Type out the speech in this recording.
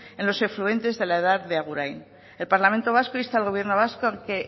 en los afluentes de la edar de agurain el parlamento vasco insta al gobierno vasco a que